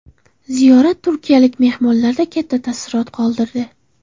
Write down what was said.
Ziyorat turkiyalik mehmonlarda katta taassurot qoldirdi.